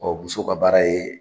Ɔ muso ka baara ye